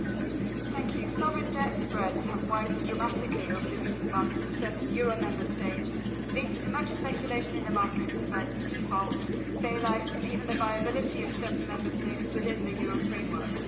Madam President, sovereign debt spreads have widened dramatically over recent months for certain euro Member States, leading to much speculation in the markets about defaults, bail outs and even the viability of certain Member States within the euro framework.